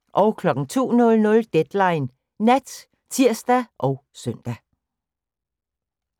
02:00: Deadline Nat (tir og søn)